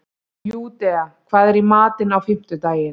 Júdea, hvað er í matinn á fimmtudaginn?